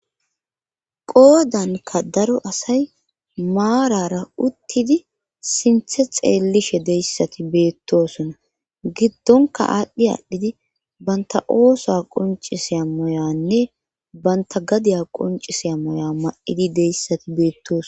Qoodanka daro asay maarara uttidi sinthe xeellishe deyssati beettosona giddonka aadhdhi aadhdhidi banta oosa qonciseya moyanne banta gadiya qonciseya moya ma7idi deyssati beettos.